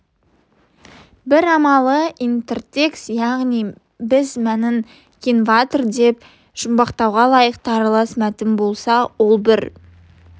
бір амалы интертекст яғни біз мәнін кентавр деп жұмбақтауға лайықты аралас мәтін болса ол бір